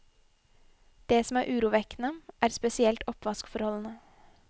Det som er urovekkende, er spesielt oppvaskforholdene.